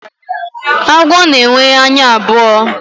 agwọ na enwe anya abụo